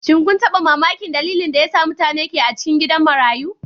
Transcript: Shin kun taba mamakin dalilin da yasa mutane ke a cikin gidan marayu?